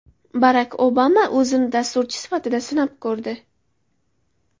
Barak Obama o‘zini dasturchi sifatida sinab ko‘rdi.